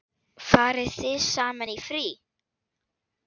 Farið þið saman í frí?